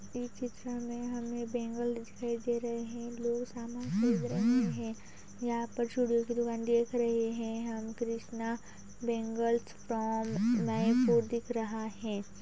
इस चित्र में हमें बैंगल्स दिखाई दे रहे हैं। लोग सामन खरीद रहे हैं। यहाँ पर चूड़ियों की दुकान देख रहे हैं। हम कृष्णा बैंगल्स फ्रॉम जयपुर दिख रहा है।